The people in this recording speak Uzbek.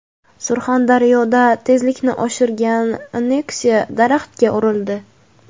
Surxondaryoda tezlikni oshirgan Nexia daraxtga urildi.